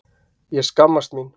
Ég skammast mín.